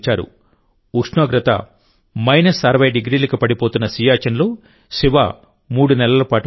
ఉష్ణోగ్రత మైనస్ అరవై 60 డిగ్రీలకు పడిపోతున్న సియాచిన్లో శివ మూడు నెలల పాటు ఉంటారు